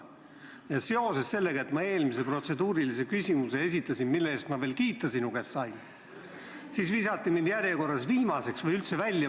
Aga seoses sellega, et ma eelmise protseduurilise küsimuse esitasin – mille eest ma veel sinu käest kiita sain –, visati mind järjekorras viimaseks või üldse välja.